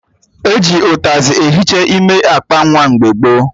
E ji ụtazị ehicha ime akpa nwa mgbe gboo